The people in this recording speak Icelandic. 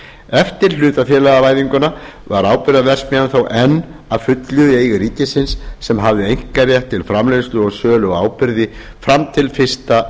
eftir hlutafélagavæðinguna var áburðarverksmiðjan þó enn að fullu í eigu ríkisins sem hafði einkarétt til framleiðslu og sölu á áburði fram til fyrsta